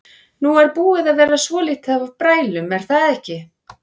Nú er búið að vera svolítið af brælum er það ekki?